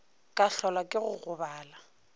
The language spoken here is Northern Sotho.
ka hlolwa ke go gobala